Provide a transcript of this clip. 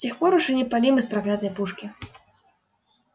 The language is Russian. с тех пор уж и не палим из проклятой пушки